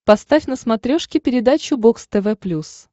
поставь на смотрешке передачу бокс тв плюс